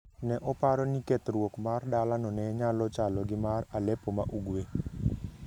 Ne oparo ni kethruok mar dalano ne nyalo chalo gi mar Aleppo ma Ugwe.